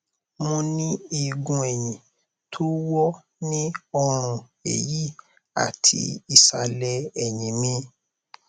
mo ní eegun ẹyìn tó wọ ní ọrùn ẹyì àti ìsàlẹ ẹyìn mi